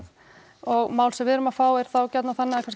og mál sem við erum að fá eru þá gjarnan þannig að kannski